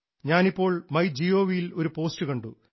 ഞാനിപ്പോൾ my gov ഇൽ ഒരു പോസ്റ്റ് കണ്ടു